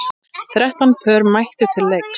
Þrettán pör mættu til leiks.